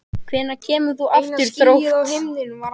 Hvenær kemur þú aftur í Þrótt?